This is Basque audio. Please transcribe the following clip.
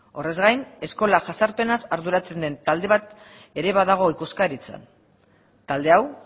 horrez gain eskola jazarpenaz arduratzen den talde bat ere badago ikuskaritzan talde hau